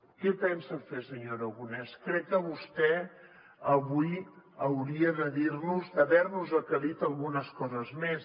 què pensa fer senyor aragonès crec que vostè avui hauria d’haver nos aclarit algunes coses més